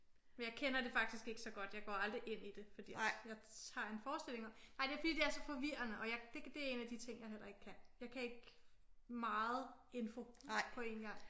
Men jeg kender det faktisk ikke så godt. Jeg går aldrig ind i det fordi at jeg har en forestilling om nej det er fordi det er så forvirrende og jeg det er en af de ting jeg heller ikke kan. Jeg kan ikke meget info på én gang